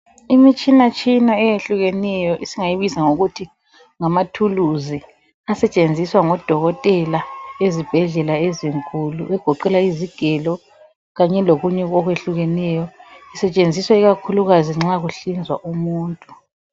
Imitshina thina eyehlukeneyo esingayibiza ngokuthi yizikhali asetshenziswa ngodokotela ezibhedlela ezinkulu egoqela izigelo kanye lokunye okwehlukeneyo kusetshenziswa ikakhulu nxa kuhlinzwa umuntu